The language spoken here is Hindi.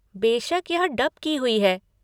बेशक यह डब की हुई है।